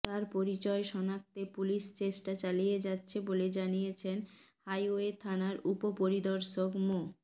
তার পরিচয় শনাক্তে পুলিশ চেষ্টা চালিয়ে যাচ্ছে বলে জানিয়েছেন হাইওয়ে থানার উপপরিদর্শক মো